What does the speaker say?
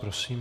Prosím.